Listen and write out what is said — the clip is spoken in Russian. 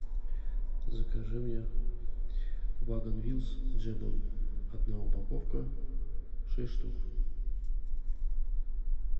закажи мне вагон вилс с джемом одна упаковка шесть штук